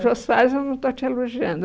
O Jô Soares eu não estou te elogiando.